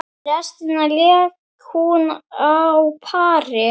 Restina lék hún á pari.